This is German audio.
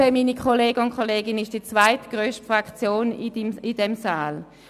Die SP ist die zweitgrösste Fraktion in diesem Saal.